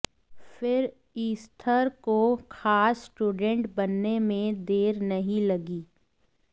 फिर ईस्थर को खास स्टूडेंट बनने में देर नहीं लगी